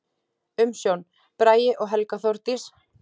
Umsjón: Bragi og Helga Þórdís.